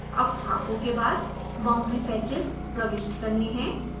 अब छापों के बाद boundary patchs प्रविष्ट करने हैं